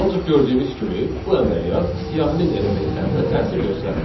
Ancaq gördüyünüz kimi bu əməliyyat siyahinin elementlərinə təsir göstərmədi.